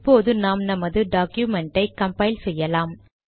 இப்போது நாம் நமது டாக்குமெண்டை கம்பைல் செய்யலாம்